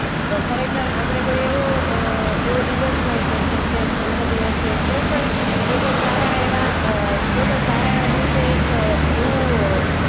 ખરેખર આપણે કોઈ એવો અ એવો દિવસ હોય કે જેમકે જન્મદિવસ છે કોઈ પણ કોઈ પણ સારા એવા અ કોઈ પણ સારા એવા દિવસે એક એવું અ